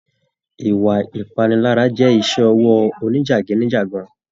Ìwà ipanilara jẹ iṣẹ ọwọ òní jagidijagan.